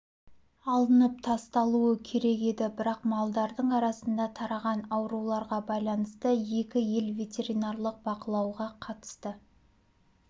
алынып тасталуы керек еді бірақ малдардың арасында тараған ауруларға байланысты екі ел ветеринарлық бақылауға қатысты